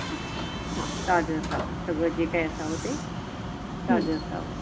आह ताज असावं सगळं जे काय असा होते तर जसं